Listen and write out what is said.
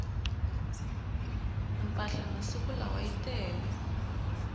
mpahla masiku lawa yi tele